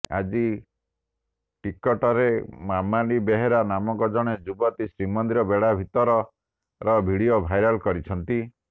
ଆଜି ଟିକଟକରେ ମାମାଲି ବେହେରା ନାମକ ଜଣେ ଯୁବତୀ ଶ୍ରୀମନ୍ଦିର ବେଢା ଭିତରର ଭିଡିଓ ଭାଇରାଲ କରିଛନ୍ତି